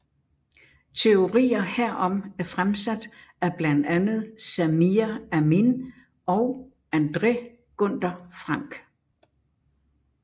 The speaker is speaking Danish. Teorier herom er fremsat at blandt andet Samir Amin og André Gunder Frank